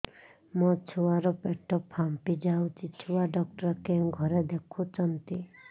ମୋ ଛୁଆ ର ପେଟ ଫାମ୍ପି ଯାଉଛି ଛୁଆ ଡକ୍ଟର କେଉଁ ଘରେ ଦେଖୁ ଛନ୍ତି